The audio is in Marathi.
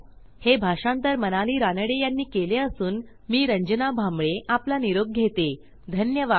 हे भाषांतर मनाली रानडे यांनी केले असून मी आवाज रंजना भांबळे आपला निरोप घेते धन्यवाद